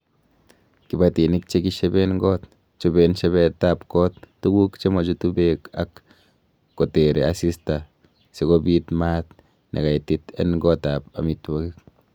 Kibatinik che kisheben got, choben shebetab got tuguk nemochutu beek ak kotere asista sikobiit maat nekaitit en gotab amitwogik.